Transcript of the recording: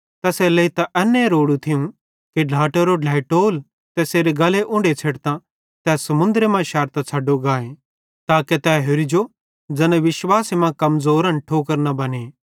तैसेरेलेइ त एन्ने रोड़ू थियूं कि ढ्लाटेरो ढ्लेइटोल तैसेरे गल्ले उन्ढो छ़ेडतां ते समुन्द्रे मां शैरतां छ़ड्डो गाथो ताके तै होरि जो ज़ैना विश्वासे मां कमज़ोरन ठोकर न बने